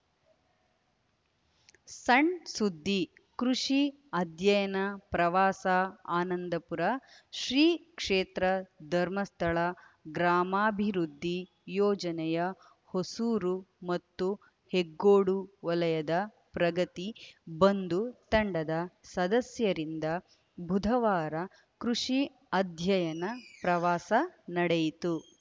ಸಣ್‌ಸುದ್ದಿ ಕೃಷಿ ಅಧ್ಯಯನ ಪ್ರವಾಸ ಆನಂದಪುರ ಶ್ರೀಕ್ಷೇತ್ರ ಧರ್ಮಸ್ಥಳ ಗ್ರಾಮಾಭಿವೃದ್ಧಿ ಯೋಜನೆಯ ಹೊಸೂರು ಮತ್ತು ಹೆಗ್ಗೋಡು ವಲಯದ ಪ್ರಗತಿ ಬಂಧು ತಂಡದ ಸದಸ್ಯರಿಂದ ಬುಧವಾರ ಕೃಷಿ ಅಧ್ಯಯನ ಪ್ರವಾಸ ನಡೆಯಿತು